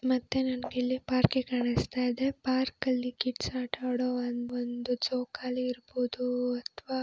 ಮತ್ತೆ ನನಗೆ ಇಲ್ಲಿ ಪಾರ್ಕ್ ಕಾಣಿಸ್ತಾ ಇದೆ ಪಾರ್ಕ್ ಅಲ್ಲಿ ಕಿಡ್ಸ್ ಆಟ ಆಡೋ ಅಂತ ಒಂದು ಜೋಕಾಲಿ ಇರಬಹುದು ಅಥವಾ --